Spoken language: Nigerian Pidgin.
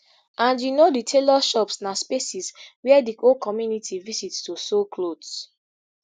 and you know di tailors shops na spaces wia di whole community visit to sew clothes